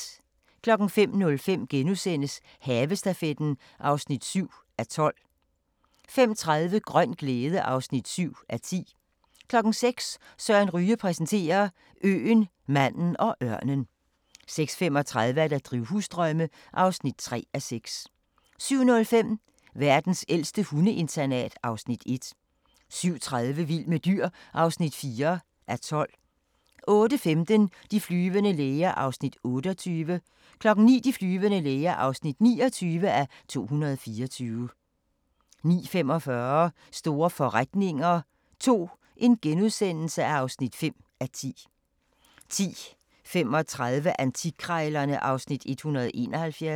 05:05: Havestafetten (7:12)* 05:30: Grøn glæde (7:10) 06:00: Søren Ryge præsenterer: Øen, manden og ørnen 06:35: Drivhusdrømme (3:6) 07:05: Verdens ældste hundeinternat (Afs. 1) 07:30: Vild med dyr (4:12) 08:15: De flyvende læger (28:224) 09:00: De flyvende læger (29:224) 09:45: Store forretninger II (5:10)* 10:35: Antikkrejlerne (Afs. 171)